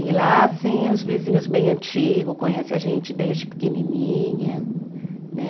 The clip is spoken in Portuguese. E lá, assim, os vizinhos bem antigo conhece a gente desde pequenininha, né?